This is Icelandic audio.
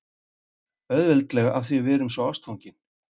Auðveldlega af því að við erum svo ástfangin